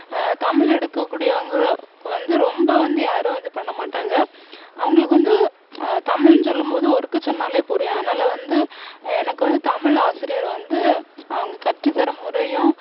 ஆஹ் தமிழ் எடுக்ககூடியவங்க வந்து ரொம்ப வந்து யாரும் இது பண்ணமாட்டாங்க அவங்களுக்கு வந்து ஆஹ் தமிழ்னு சொல்லும் போது ஒருக்கா சொன்னாலே புரியும் அதனால வந்து எனக்கு வந்து தமிழ் ஆசிரியர் வந்து அவங்க கற்றுத்தர்ற முறையும்